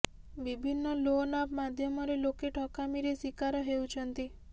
ବିଭିନ୍ନ loan app ମାଧ୍ୟମରେ ଲୋକେ ଠକାମୀରେ ଶିକାର ହେଉଛନ୍ତି